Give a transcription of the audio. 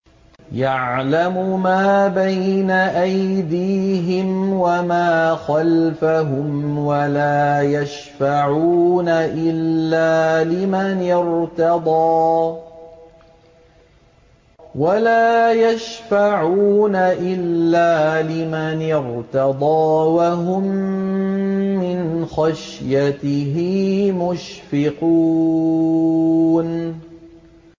يَعْلَمُ مَا بَيْنَ أَيْدِيهِمْ وَمَا خَلْفَهُمْ وَلَا يَشْفَعُونَ إِلَّا لِمَنِ ارْتَضَىٰ وَهُم مِّنْ خَشْيَتِهِ مُشْفِقُونَ